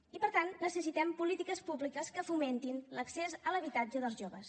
i per tant necessitem polítiques públiques que fomentin l’accés a l’habitatge dels joves